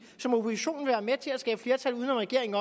som oppositionen vil være med til at skabe flertal uden om regeringen